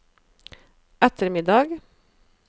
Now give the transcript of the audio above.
ettermiddag